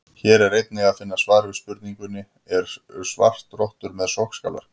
Hér er einnig að finna svar við spurningunni: Eru svartrottur með sogskálar?